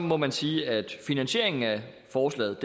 må man sige at finansieringen af forslaget